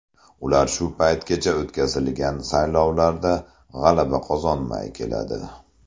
Ular shu paytgacha o‘tkazilgan saylovlarda g‘alaba qozonolmay keladi.